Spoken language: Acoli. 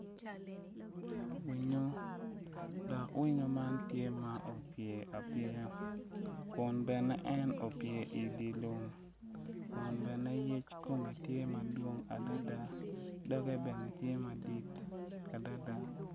Winyu, dok winyu man tye ma opye apyeya kun bene en opye idye lum kun bene yec kome tye madwong adada doge bene tye madit adada